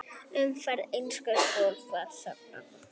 Umferðin eykst svo aftur þegar skólastarf hefst að nýju.